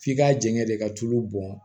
F'i ka jɛngɛ de ka tulu bɔn